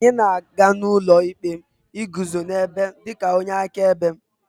anyị na-aga n'ụlọ ikpe iguzo n'ebe dị ka onye akaebe